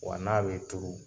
Wa n'a bi turu